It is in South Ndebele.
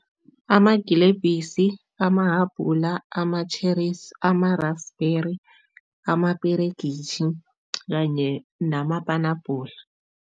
Amagilebhisi, amahabhula, ama-cherries, ama-raspberry, amaperegitjhi kanye namapanabhula.